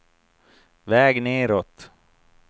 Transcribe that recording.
väg nedåt